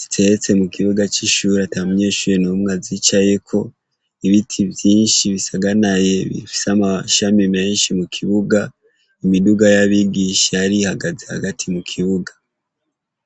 ziteretse mukibuga cishure atamunyeshure numwe azicayeko ibiti vyinshi bisaganaye bifise amashami menshi mukibuga imiduga yabigisha yari ihagaze hagati mu kibuga